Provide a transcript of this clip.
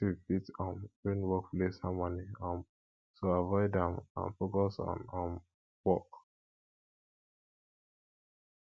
gossip fit um ruin workplace harmony um so avoid am and and focus on um work